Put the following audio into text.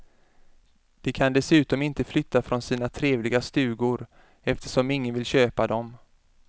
De kan dessutom inte flytta från sina trevliga stugor, eftersom ingen vill köpa dem.